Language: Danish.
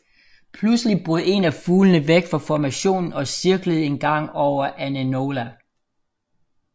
Pludselig brød en af fuglene væk fra formationen og cirklede en gang over Ainola